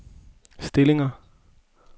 stillinger